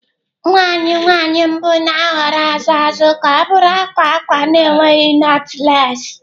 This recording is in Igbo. Nwa anyị nwanyị mbụ na-ahọrọ azụ azụ ka ọ bụrụ akwa akwa na-enweghị knotless.